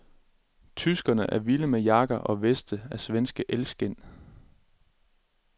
Tyskerne er vilde med jakker og veste af svenske elgskind.